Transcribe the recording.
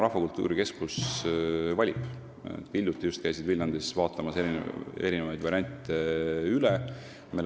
Rahvakultuuri Keskus valib praegu ruume, nad just hiljuti käisid Viljandis erinevaid variante üle vaatamas.